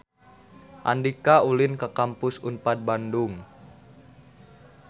Andika ulin ka Kampus Unpad Bandung